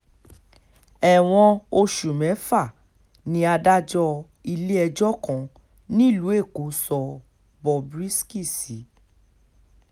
ẹ̀wọ̀n oṣù mẹ́fà ni adájọ́ ilé-ẹjọ́ kan nílùú èkó sọ bob risky sí